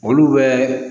Olu bɛ